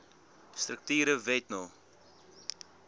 strukture wet no